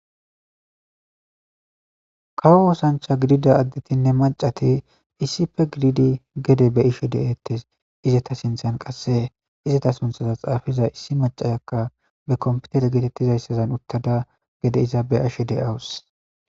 Kawo osancha gididanne adetinne macati issipe gididi gede beyishe detes izeta sinthen qase izeta suntha xafiza issi macataka be kompeter getetizaysa gede iza beyashe dawus